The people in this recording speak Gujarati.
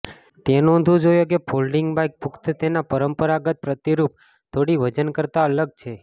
તે નોંધવું જોઇએ કે ફોલ્ડિંગ બાઇક પુખ્ત તેના પરંપરાગત પ્રતિરૂપ થોડી વજન કરતાં અલગ છે